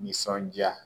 Nisɔndiya